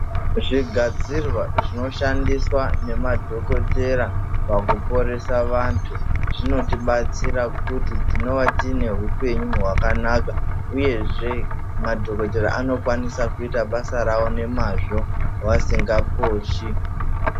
Zvigadzirwa zvinoshandiswa nemadhokotera pakuporesa antu. Zvinotibatsira pakuti tinova tine hupenyu hwakanaka, uyezve madhogodheya anokwanisa kuita basa ravo nemazvo vasingaposhi.